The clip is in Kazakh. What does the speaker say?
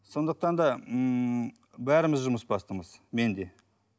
сондықтан да ммм бәріміз жұмыс бастымыз мен де